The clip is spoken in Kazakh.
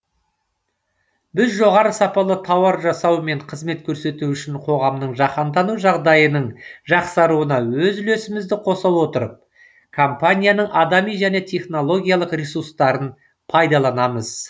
біз жоғары сапалы тауар жасау мен қызмет көрсету үшін қоғамның жаһандану жағдайының жақсаруына өз үлесімізді қоса отырып компанияның адами және технологиялық ресурстарын пайдаланамыз